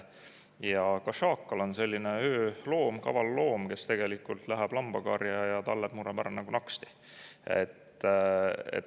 Ja ka šaakal on ööloom, kaval loom, kes tegelikult läheb lambakarja ja talled murrab ära nagu naksti.